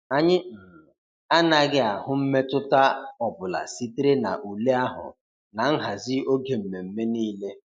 Anyị um anaghị ahụ mmetụta ọ bụla sitere na ule ahụ na nhazi oge mmemme niile.